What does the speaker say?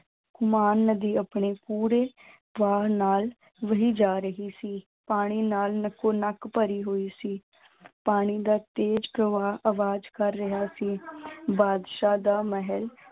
ਮਾਂ ਨਦੀ ਆਪਣੇ ਪੂਰੇ ਨਾਲ ਵਹੀ ਜਾ ਰਹੀ ਸੀ, ਪਾਣੀ ਨਾਲ ਨੱਕੋ ਨੱਕ ਭਰੀ ਹੋਈ ਸੀ ਪਾਣੀ ਦਾ ਤੇਜ਼ ਪ੍ਰਵਾਹ ਆਵਾਜ਼ ਕਰ ਰਿਹਾ ਸੀ ਬਾਦਸ਼ਾਹ ਦਾ ਮਹਿਲ